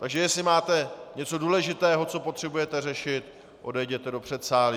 Takže jestli máte něco důležitého, co potřebujete řešit, odejděte do předsálí.